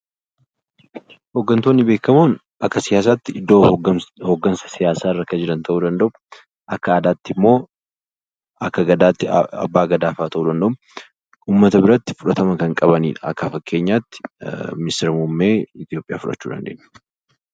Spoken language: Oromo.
Hooggantoonni beekkamoon akka siyaasaatti iddoo hooggansa siyaasa irra jiran ta'uu danda'u akka aadaa Oromootti immoo Abbaa Gadaa ta'uu danda'u akkasumas uummata biratti fudhatama guddaa qabu. Fakkeenyaaf muummicha ministeera Itoophiyaa Abiy Ahmed fudhachuu dandeenya.